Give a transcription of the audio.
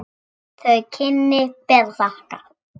Þau kynni ber að þakka.